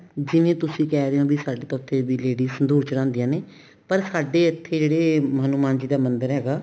ਜਿਵੇਂ ਤੁਸੀਂ ਕਹਿ ਰਹੇ ਹੋ ਸਾਡੇ ਤਾਂ ladies ਉੱਥੇ ਸੰਧੂਰ ਚੜਾਉਦੀਆਂ ਨੇ ਪਰ ਸਾਡੇ ਇੱਥੇ ਜਿਹੜਾ ਹਨੁਮਾਨ ਜੀ ਦਾ ਮੰਦਿਰ ਹੈਗਾ